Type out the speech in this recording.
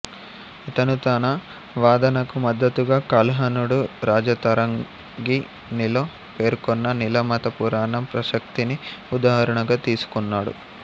ఇతను తన వాదనకు మద్దతుగా కల్హణుడు రాజతరంగిణిలో పేర్కొన్న నీలమతపురాణం ప్రశక్తిని ఉదాహరణగా తీసుకొన్నాడు